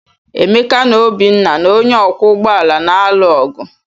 Emeka na Obinna na onye ọkwọ ụgbọ ala na-alụ ọgụ.